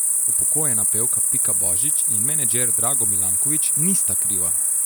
Upokojena pevka Pika Božič in menedžer Drago Milankovič nista kriva!